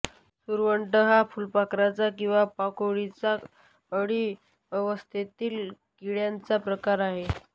सुरवंट हा फुलपाखराचा किंवा पाकोळीचा अळी अवस्थेतील किड्याचा प्रकार आहे